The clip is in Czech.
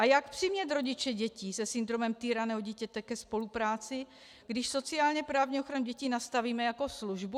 A jak přimět rodiče dětí se syndromem týraného dítěte ke spolupráci, když sociálně-právní ochranu dětí nastavíme jako službu?